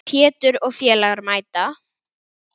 Pétur og félagar mæta.